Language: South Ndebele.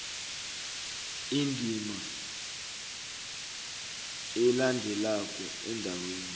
indima elandelako endaweni